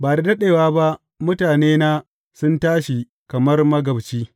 Ba da daɗewa ba mutanena sun tashi kamar magabci.